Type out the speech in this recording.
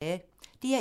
DR1